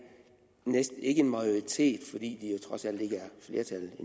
næsten en majoritet næsten fordi de jo trods alt ikke